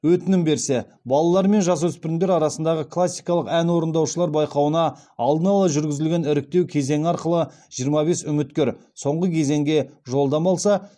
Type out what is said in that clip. өтінім берсе балалар мен жасөспірімдер арасындағы классикалық ән орындаушылар байқауына алдын ала жүргізілген іріктеу кезеңі арқылы жиырма бес үміткер соңғы кезеңге жолдама алса